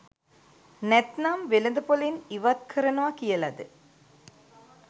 නැත්නම් වෙළඳපොලෙන් ඉවත්කරනව කියලද